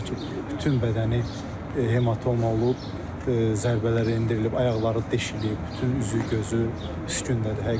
Demək olar ki, bütün bədəni hematoma olub, zərbələr endirilib, ayaqları deşilib, bütün üzü gözü üskündədir.